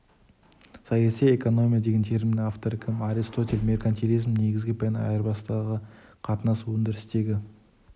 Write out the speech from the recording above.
саяси эконмия деген терминің авторы кім аристотель меркантилизмнің негізгі пәні айырбастағы қатынас өндірістегі